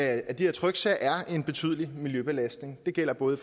af de her tryksager er en betydelig miljøbelastning det gælder både